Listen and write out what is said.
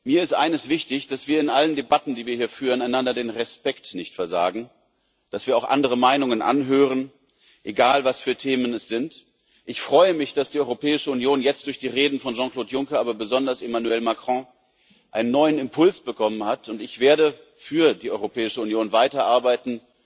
Mir ist eines wichtig dass wir in allen Debatten, die wir hier führen, einander den Respekt nicht versagen, dass wir auch andere Meinungen anhören egal, was für Themen es sind. Ich freue mich, dass die Europäische Union jetzt durch die Reden von Jean Claude Juncker, aber besonders von Emmanuel Macron einen neuen Impuls bekommen hat, und ich werde weiter für die Europäische Union arbeiten